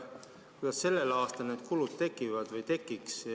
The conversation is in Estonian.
Kuidas sellel aastal need kulud tekivad või tekiks?